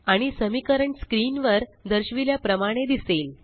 आणि समीकरण स्क्रीन वर दर्शविल्या प्रमाणे दिसेल